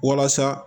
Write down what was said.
Walasa